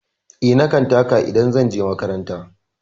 Eh, na kan taka idan zan je makaranta.